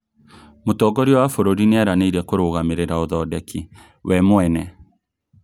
Mũtongoria wa bũrũri nĩeranĩire kũrũgamĩrĩra ũthondeki we mwene